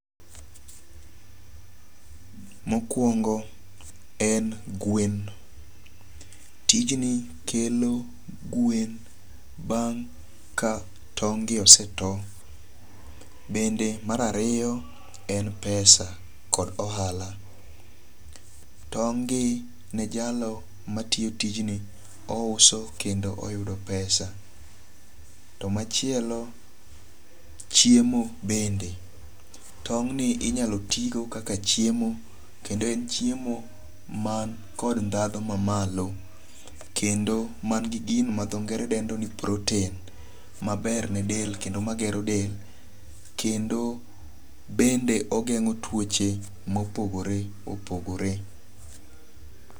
Mokwongo en gwen. Tijni kelo gwen bang' ka tong' gi ose to. Bende mar ariyo en pesa kod ohala. Tong' gi ne jalo matiyo tijni ouso kendo oyudo pesa. To machielo, chiemo bende, tong'ni inyalo ti go kaka chiemo. Kendo en chiemo man kod dhadho mamalo. Kendo man gi gino ma dho ngere dendo ni protein maber ne del kendo magero del. Kendo bende ogeng'o tuoche mopogore opogore.